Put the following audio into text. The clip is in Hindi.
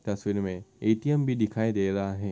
तस्वीर मे ऐ.टी.म. भी दिखाई दे रहा है।